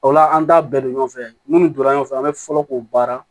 O la an t'a bɛɛ don ɲɔgɔn fɛ minnu donna ɲɔgɔn fɛ an bɛ fɔlɔ k'o baara